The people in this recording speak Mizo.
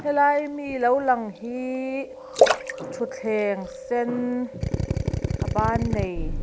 helai ami lo lang hi ṭhuthleng sen a bân nei.